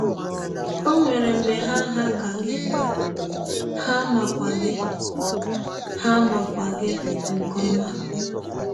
Ọ nwere mgbe ha hà ka gị, ha makwa gị ha makwa gị nke ọma.